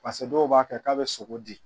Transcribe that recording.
Paseke dɔw b'a kɛ k'a bɛ sogo di